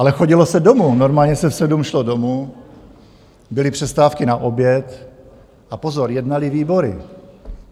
Ale chodilo se domů, normálně se v sedm šlo domů, byly přestávky na oběd - a pozor, jednaly výbory.